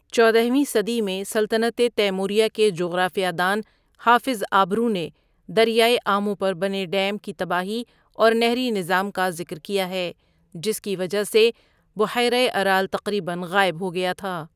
چودہ ویں صدی میں سلطنت تیموریہ کے جغرافیہ دان حافظ آبرو نے دریائے آمو پر بنے ڈیم کی تباہی اور نہری نظام کا ذکر کیا ہے جس کی وجہ سے بحیرہ ارال تقریباً غائب ہو گیا تھا.